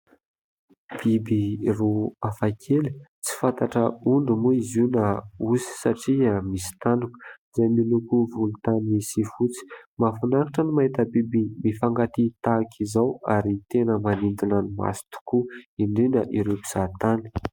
Biby roa hafa kely tsy fantatra ondry moa izy io na osy satria misy tandroka, izay miloko volontany sy fotsy. Mahafinaritra no mahita biby mifankatia tahaka izao ary tena manintona ny maso tokoa, indrindra ireo mpizahatany.